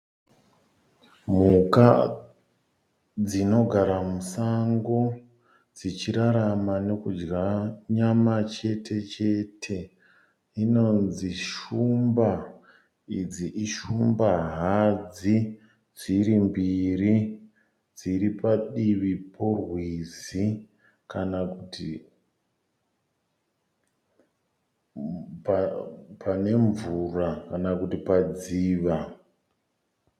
Mhuka dzinogara musango dzichirarama nekudya nyama chete chete inonzi shumba idzi ishumba hadzi dzirimbiri. Dziripadivi porwizi kana kuti pane mvura kana kuti padziva